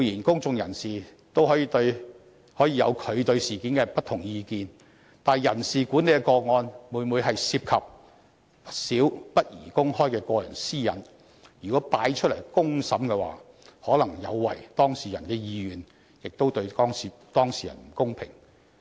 公眾人士固然可以對事件持不同的意見，但人事管理的個案每每涉及不少不宜公開的個人私隱，如果提交出來進行公審的話，可能有違當事人的意願，對當事人亦不公平。